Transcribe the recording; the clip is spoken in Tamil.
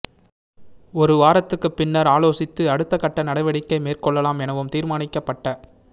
ஒரு வாரத்துக்கு பின்னர் ஆலோசித்து அடுத்தகட்ட நடவடிக்கை மேற்கொள்ளலாம் எனவும் தீர்மானிக்கப்பட்டத